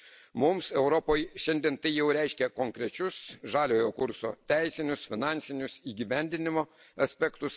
Mums, Europoje, šiandien tai jau reiškia konkrečius Žaliojo kurso teisinius, finansinius, įgyvendinimo aspektus.